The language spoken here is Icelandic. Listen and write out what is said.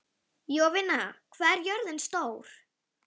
Jovina, hvað er jörðin stór?